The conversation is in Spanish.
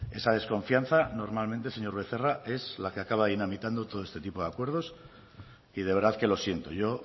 esa desconfianza normalmente señor becerra es la que acaba dinamitando todo este tipo de acuerdo y de verdad que lo siento yo